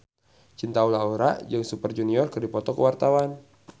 Cinta Laura jeung Super Junior keur dipoto ku wartawan